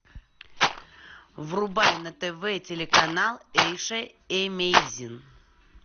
врубай на тв телеканал эйша эмейзинг